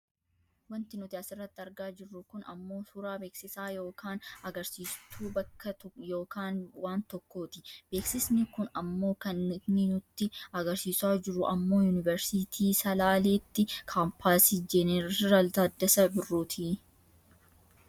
wanti nuti asirratti argaa jirru kun ammoo suuraa beeksisaa yookaan agarsiistuu bakka yookaan waan tokkooti. beeksisni kun ammoo kan inni nutti agarsiisa jiru ammoo yuuniversiitii salaaleetti kaampaasii Jennersl Taddasaa Birruuti.